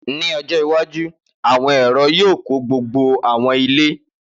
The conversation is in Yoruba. Ni ọjọ iwaju, awọn ẹrọ yoo kọ gbogbo awọn ile.